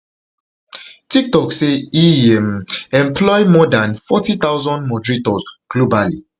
tiktok say e um employ more dan forty thousand moderators globally